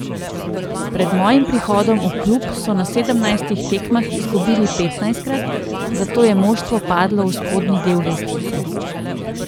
Pred mojim prihodom v klub so na sedemnajstih tekmah izgubili petnajstkrat, zato je moštvo padlo v spodnji del lestvice.